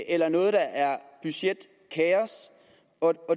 eller noget der er budgetkaos